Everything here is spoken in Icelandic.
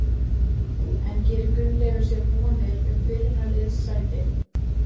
En gerir Gunnleifur sér vonir um byrjunarliðssæti?